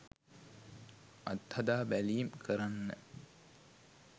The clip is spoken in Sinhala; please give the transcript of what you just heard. අත්හදා බැලීම් කරන්න.